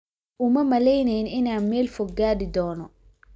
Uma malaynayn inaan meel fog gaadhi doono.